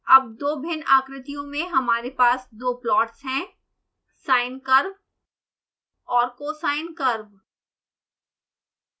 अब दो भिन्न आकृतियों में हमारे पास दो प्लॉट्स हैं sine curve और cosine curve